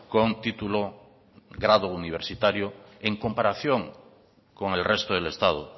con título grado universitario en comparación con el resto del estado